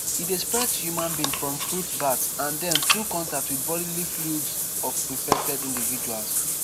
e dey spread to human being from fruit bats and den through contact wit bodily fluids of infected individuals